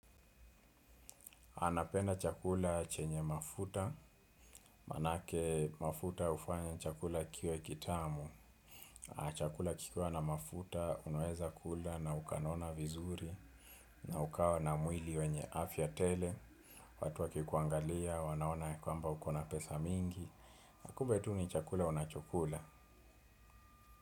Anapenda chakula chenye mafuta, manake mafuta hufanya chakula kiwe kitamu. Chakula kikiwa na mafuta, unaweza kula na ukanona vizuri, na ukawa na mwili wenye afya tele. Watu wakikuangalia, wanaona yakwamba uko na pesa mingi. Na kumbe tu ni chakula unacho kula.